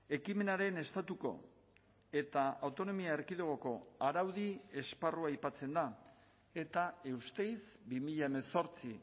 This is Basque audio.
ekimenaren estatuko eta autonomia erkidegoko araudi esparrua aipatzen da eta eusteiz bi mila hemezortzi